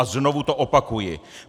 A znovu to opakuji!